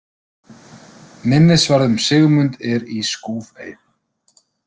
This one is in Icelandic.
Minnisvarði um Sigmund er í Skúfey.